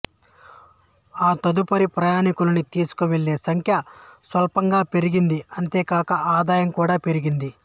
ఆ తదుపరి ప్రయాణికులని తీసుకువెళ్ళే సంఖ్య స్వల్పంగా పెరిగింది అంతేకాక ఆదాయం కూడా పెరిగింది